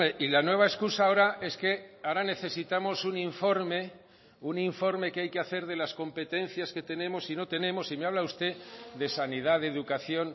y la nueva excusa ahora es que ahora necesitamos un informe un informe que hay que hacer de las competencias que tenemos y no tenemos y me habla usted de sanidad de educación